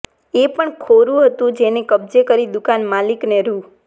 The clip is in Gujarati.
એ પણ ખોરું હતું જેને કબજે કરી દુકાન માલિકને રૃ